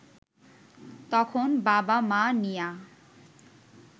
তখন বাবা-মা নিয়া